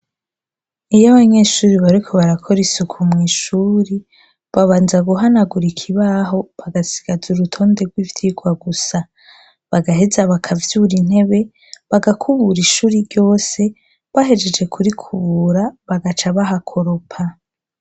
Iy' abanyeshuri bariko barakor' isuku mu ishuri, babanza guhanagur 'ikaibaho bagasigaza urutonde rw'ivyigwa gusa, bagaheza bakavyur'intebe ,bagakubura ishuri ryose, bahejeje kurikubura bagaca bahakoropa